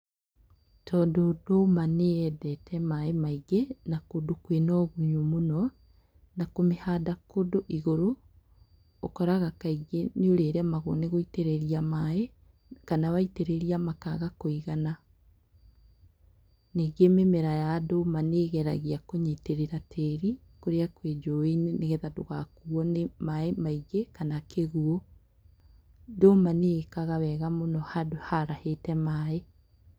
Tondũ ndũma nĩ yendete maĩ maingĩ na kũndũ kwĩna ũgunyu mũno na kũmĩhanda kũndũ igũrũ, ũkoraga kaingĩ nĩ ũrĩremagwo nĩ gũitĩrĩria maĩ, kana waitĩrĩria makaga kũigana. Ningĩ mĩmera ya ndũma nĩgeragia kũnyĩtĩrĩra tĩri kũrĩa kwĩ njũi-inĩ nĩ getha ndũgakuo nĩ maĩ maingĩ kana kĩguũ. Ndũma nĩ ĩkaga wega handũ harahĩte maĩ.